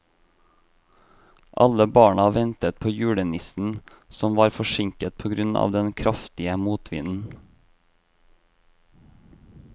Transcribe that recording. Alle barna ventet på julenissen, som var forsinket på grunn av den kraftige motvinden.